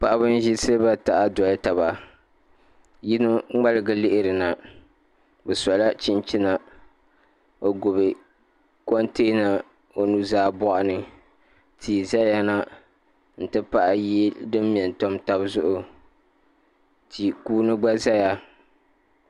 Paɣaba n ʒi siliba taha doli taba yino ŋmaligi lihirina bi sola chinchina o gbubi komtɛna o nuzaa boɣani tii ʒɛya na n ti pahi yili din mɛ n tam tabi zuɣu ti kuuni gba ʒɛya